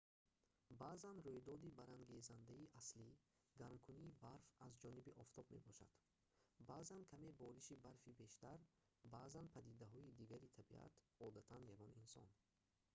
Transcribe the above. баъзан рӯйдоди барангезандаи аслӣ гармкунии барф аз ҷониби офтоб мебошад баъзан каме бориши барфи бештар баъзан падидаҳои дигари табиат одатан ягон инсон